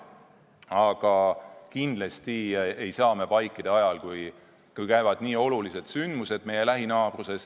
Aga kindlasti ei saa me vaikida ajal, kui toimuvad nii olulised sündmused meie lähinaabruses.